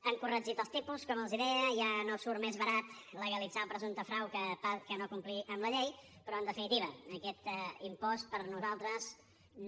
han corregit els tipus com els deia ja no surt més barat legalitzar el presumpte frau que no complir amb la llei però en definitiva aquest impost per nosaltres no